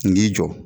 N k'i jɔ